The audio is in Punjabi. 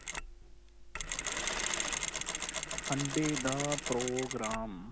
sunday ਦਾ program